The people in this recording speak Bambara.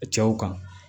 Cɛw kan